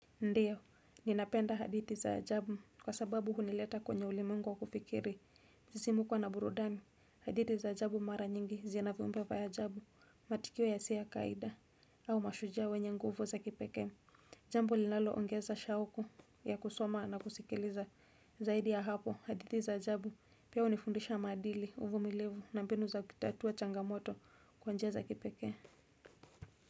Ndiyo, ninapenda hadithi za ajabu kwa sababu hunileta kwenye ulimwengu wa kufikiri, msisimuko na burudani, hadithi za ajabu mara nyingi zina viumbe wa ajabu, matikio yasiyo ya kawaida, au mashujaa wenye nguvu za kipekee, jambo linaloongeza shauku ya kusoma na kusikiliza, zaidi ya hapo hadithi za ajabu pia unifundisha maadili uvumilivu na mbinu za kitatua changamoto kwa njia za kipekee.